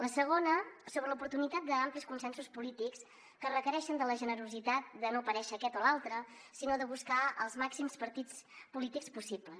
la segona sobre l’oportunitat d’amplis consensos polítics que requereixen la generositat de no aparèixer aquest o l’altre sinó de buscar els màxims partits polítics possibles